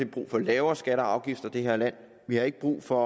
brug for lavere skatter og afgifter i det her land vi har ikke brug for